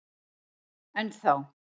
Enn þá.